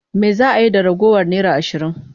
Me za a yi da ragowar naira ashirin?